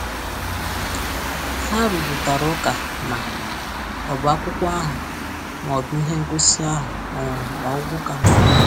Ha rụrịtara ụka ma ọ bụ akwụkwọ ahụ ma ọ bụ ihe ngosi ahụ o nwere ọgwụgwụ ka mma.